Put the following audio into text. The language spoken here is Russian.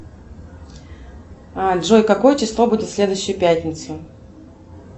джой какое число будет в следующую пятницу